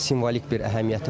Simvolik bir əhəmiyyəti var.